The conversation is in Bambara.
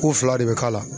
K'u fila de bɛ k'a la